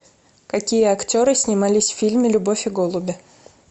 какие актеры снимались в фильме любовь и голуби